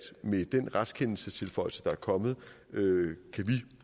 med den retskendelsestilføjelse der er kommet